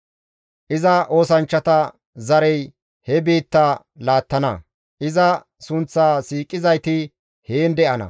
Iza oosanchchata zarey he biitta laattana; iza sunththa siiqizayti heen de7ana.